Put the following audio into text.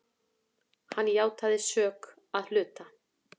Hann játaði sök að hluta.